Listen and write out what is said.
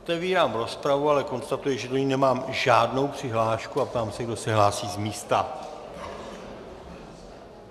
Otevírám rozpravu, ale konstatuji, že do ní nemám žádnou přihlášku, a ptám se, kdo se hlásí z místa.